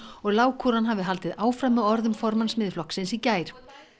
og lágkúran hafi haldið áfram með orðum formanns Miðflokksins í gær